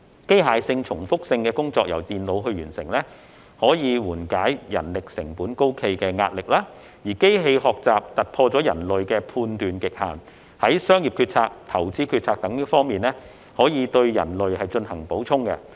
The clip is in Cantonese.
機械性、重複性工作由電腦完成，可緩解人力成本高企的壓力，而機器學習突破人類的判斷極限，在商業決策、投資決策等方面對人類進行補充。